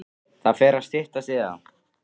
Það fer að styttast í það.